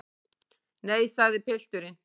Nei, sagði pilturinn.